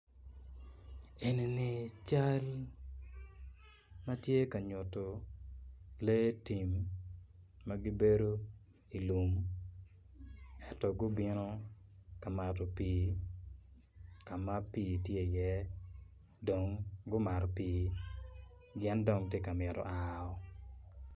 Enini cal ma tye ka nyutu lee tim ma gibedo i lum eto gubino ka mato pii ka ma pii tye iye dong gumato pii gin dong ti ka mito ao